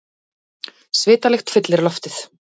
Svitalykt fyllir loftið.